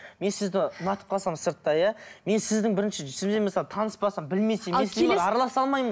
мен сізді ұнатып қалсам сырттай иә мен сіздің бірінші сізбен мысалы таныстапасам білмесем араласа алмаймын